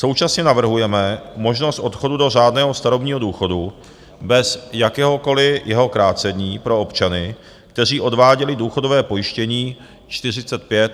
Současně navrhujeme možnost odchodu do řádného starobního důchodu bez jakéhokoliv jeho krácení pro občany, kteří odváděli důchodové pojištění 45 a více let.